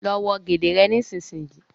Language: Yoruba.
Ló wọ gèlè rẹ nísìsiyìí!